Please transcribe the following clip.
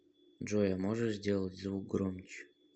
джой а можешь сделать звук громче